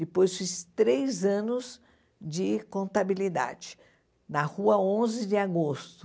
Depois fiz três anos de contabilidade, na Rua Onze de Agosto.